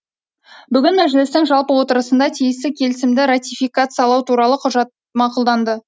бүгін мәжілістің жалпы отырысында тиісті келісімді ратификациялау туралы құжат мақұлданды